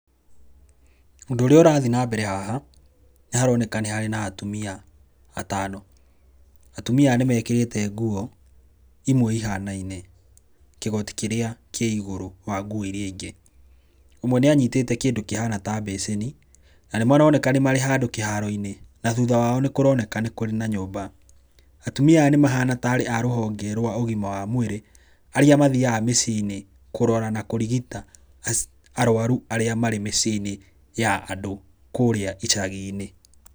Ũndũ ũrĩa ũrathi na mbere haha, nĩharoneka nĩ harĩ na atumia atano, atumia aya nĩmekĩrĩte nguo ihanaine, kĩgoti kĩrĩa kĩ igũrũ wa nguo iria ingĩ. Ũmwe nĩ anyitĩte kĩndũ kĩhana ta mbĩcĩni na nĩmaroneka nĩ marĩ handũ kĩharo-inĩ na thutha wao nĩ kũroneka nĩ kũrĩ na nyũmba. Atumia aya nĩmahana tarĩ a rũhonge rwa ũgima wa mũĩrĩ arĩa mathiaga mĩciĩ-inĩ kũrora, na kũrigita arwaru arĩa marĩ mĩcie-inĩ ya andũ kũrĩa icagi-inĩ.